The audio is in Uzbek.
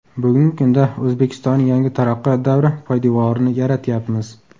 Bugungi kunda O‘zbekistonning yangi taraqqiyot davri poydevorini yaratyapmiz.